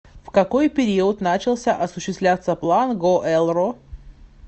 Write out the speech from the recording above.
в какой период начался осуществляться план гоэлро